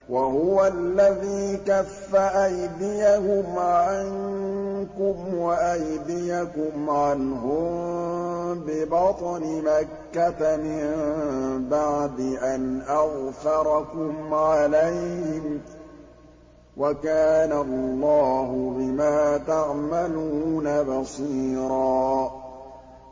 وَهُوَ الَّذِي كَفَّ أَيْدِيَهُمْ عَنكُمْ وَأَيْدِيَكُمْ عَنْهُم بِبَطْنِ مَكَّةَ مِن بَعْدِ أَنْ أَظْفَرَكُمْ عَلَيْهِمْ ۚ وَكَانَ اللَّهُ بِمَا تَعْمَلُونَ بَصِيرًا